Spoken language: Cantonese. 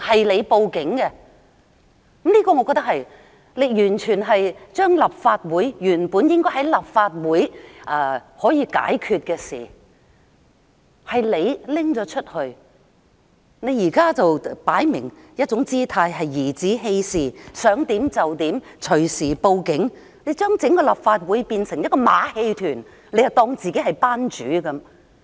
梁議員報警，將本應在立法會可以解決的事訴諸法庭，現在擺出一副頤指氣使的姿態，想怎樣就怎樣，隨時報警，將整個立法會變成一個馬戲團，當自己是班主。